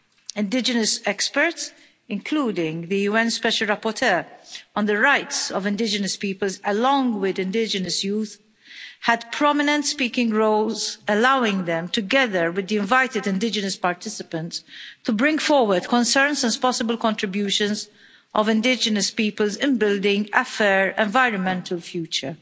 Indigenous experts, including the UN Special Rapporteur on the rights of indigenous peoples, along with indigenous youth, had prominent speaking roles, allowing them together with the invited indigenous participants to bring forward concerns as possible contributions of indigenous peoples in building a fair environmental future.